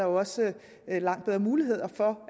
også giver langt bedre muligheder for